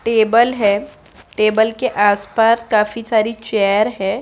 Table है table के आस-पास काफी सारी चेयर है।